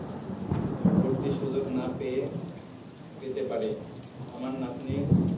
ভর্তি সুযোগ না পেয়ে পেতে পারে। আমার নাতনির